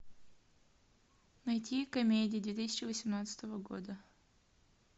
найти комедии две тысячи восемнадцатого года